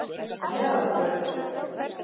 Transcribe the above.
Meðalbraut